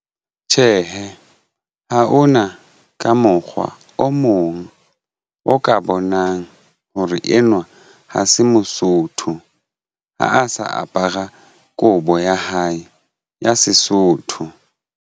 Tjhehe, ha hona ka mokgwa o mong o ka bonang hore enwa ha se mosotho ha a sa apara kobo ya hae ya Sesotho.